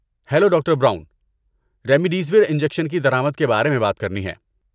hello, doctor Brown, remdesivir injection کی درآمد کے بارے میں بات کرنی ہے